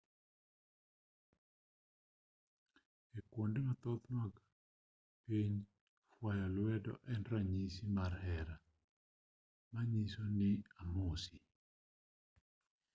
ei kuonde mathoth mag piny fwayo lwedo en ranyisi mar hera manyiso ni amosi